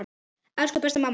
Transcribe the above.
Elsku besta mamma okkar.